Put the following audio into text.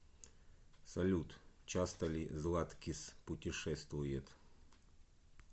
салют часто ли златкис путешествует